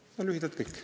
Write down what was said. See on lühidalt kõik.